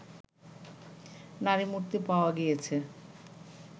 নারীমূর্তি পাওয়া গিয়েছে